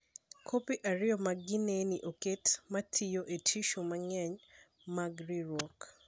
Kopi ariyo mag geneni oket (ma tiyo) e tishu mang’eny mag ringruok.